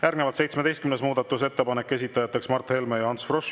Järgnevalt 17. muudatusettepanek, esitajateks Mart Helme ja Ants Frosch.